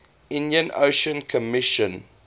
indian ocean commission